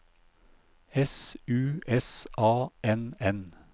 S U S A N N